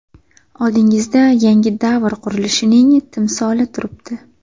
Oldingizda yangi davr qurilishining timsoli turibdi.